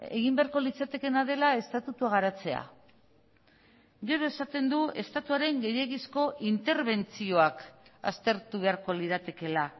egin beharko litzatekeena dela estatutua garatzea gero esaten du estatuaren gehiegizko interbentzioak aztertu beharko liratekeela